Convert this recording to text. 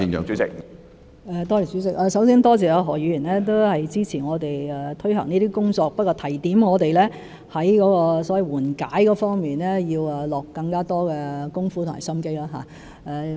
主席，首先多謝何議員支持我們推行這些工作，而他只是提點我們在緩解措施方面要下更多工夫和心機。